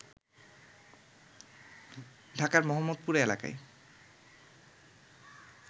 ঢাকার মোহাম্মদপুরে এলাকায়